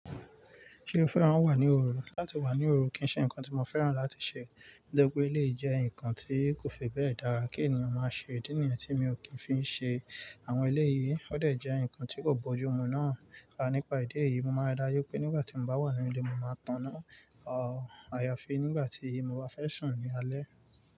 Ṣé ó fẹ́ràn wà ní òru? Láti wà ní òru kì ń ṣe nǹkan tí mo fẹ́ràn láti ṣe. Torí pé, lè jẹ́ ǹkan tí kò fi bẹ́ẹ̀ dára kí ènìyàn máa ṣe. Ìdí nìyẹn tí mi ò kí ń fi ṣe àwọn eléyìí, ó dè jẹ́ ǹkan tí kò bójú ọmọ náà. Rárá, nípa ìdí èyí, mo máa ri dájú pé nígbà tí mo bá wà ní ilé, mo máa taná Àà, àyàfi nígbà tí mo bá fẹ́ sùn ní alẹ́.